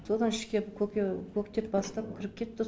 содан ішке көке көктеп бастап кіріп кетті